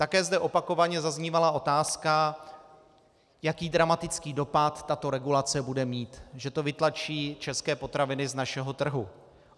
Také zde opakovaně zaznívala otázka, jaký dramatický dopad tato regulace bude mít, že to vytlačí české potraviny z našeho trhu.